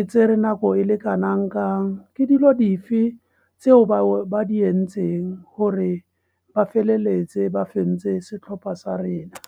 e tsere nako e le kanangkang. Ke dilo dife tseo ba di entseng gore ba feleletse ba fentse setlhopha sa rena.